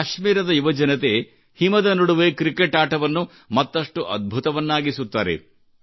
ಕಾಶ್ಮೀರದ ಯುವಜನತೆ ಹಿಮದ ನಡುವೆ ಕ್ರಿಕೆಟ್ ಆಟವನ್ನು ಮತ್ತಷ್ಟು ಅದ್ಭುತವನ್ನಾಗಿಸುತ್ತಾರೆ